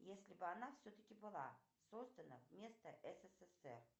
если бы она все таки была создана вместо ссср